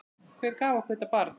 Hver gaf okkur þetta barn?